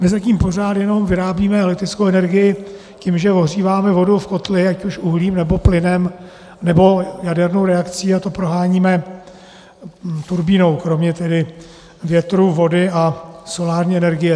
My zatím pořád jenom vyrábíme elektrickou energii tím, že ohříváme vodu v kotli, ať už uhlím, nebo plynem, nebo jadernou reakcí, a to proháníme turbínou, kromě tedy větru, vody a solární energie.